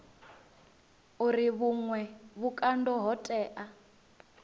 uri vhuṅwe vhukando ho tea